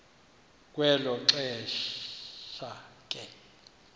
kwelo xesha ke